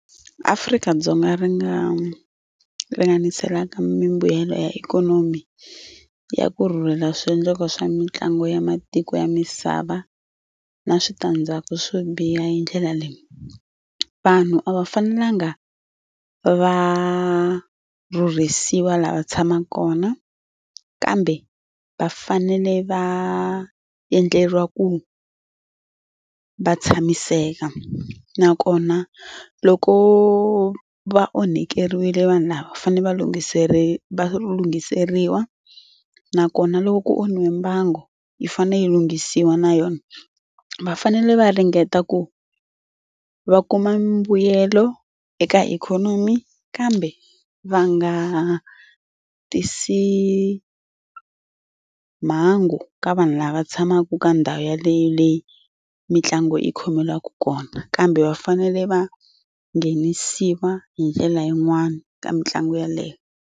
Afrika-Dzonga ri nga ringaniselaka mimbuyelo ya ikhonomi ya ku rhurhela swiendlakalo swa mitlangu ya matiko ya misava na switandzhaku swo biha hi ndlela leyi. Vanhu a va fanelanga va rhurhisiwa la va tshamaka kona kambe va fanele va endleriwa ku va tshamiseka nakona loko va onhakeriwile vanhu lava va fanele va va lunghiseriwa nakona loko ku onhiwe mbangu yi fanele yi lunghisiwa na yona. Va fanele va ringeta ku va kuma mbuyelo eka ikhonomi kambe va nga tisi mhangu ka vanhu lava tshamaka ka ndhawu yaleyo leyi mitlangu yi khomeliwaku kona kambe va fanele va nghenisiwa hi ndlela yin'wani ka mitlangu yaleyo.